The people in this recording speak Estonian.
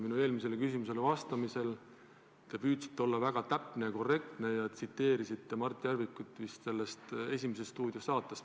Minu eelmisele küsimusele vastates te püüdsite olla väga täpne ja korrektne ja viitasite Mart Järviku esinemisele "Esimese stuudio" saates.